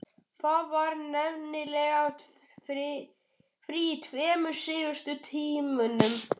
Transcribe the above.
Það var nefnilega frí í tveimur síðustu tímunum.